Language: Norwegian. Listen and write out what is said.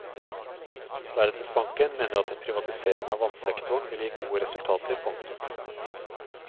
Verdensbanken mener at en privatisering av vannsektoren vil gi gode resultater. punktum